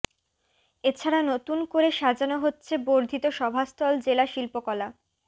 এছাড়া নতুন করে সাজানো হচ্ছে বর্ধিত সভাস্থল জেলা শিল্পকলা